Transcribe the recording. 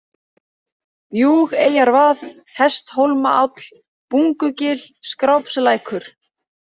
Bjúgeyjarvað, Hesthólmaáll, Bungugil, Skrápslækur